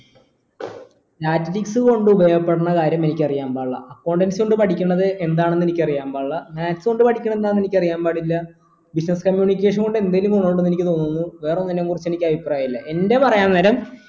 statistics കൊണ്ട് ഉപയോഗപ്പെടണ കാര്യം എനിക്കറിയാൻ പാടില്ല accountancy കൊണ്ട് പഠിക്കുന്നത് എന്താണെന്ന് എനിക്കറിയാൻ പാടില്ല maths കൊണ്ട് പഠിക്കുന്നത് എന്താണെന്ന് എനിക്കറിയാൻ പാടില്ല business communication കൊണ്ട് എന്തേലും ഗുണമിണ്ട് എന്ന് എനിക്ക് തോന്നുന്നു വേറെ ഒന്നിനെ കുറിച്ചും എനിക്ക് അഭിപ്രായമില്ല എന്റെ പറയാൻ നേരം